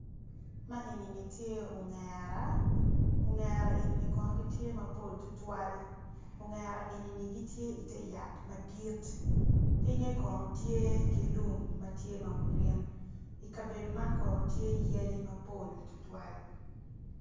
Ma enini tye ongera ongera enini kono gitye mapol tutwal ongera enini gitye ite yat madit pinge kono tye ki lum ma tye ma gurin i kabedo man kono tye yadi mapol tutwal